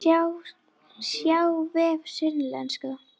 Sjá vef Sunnlenska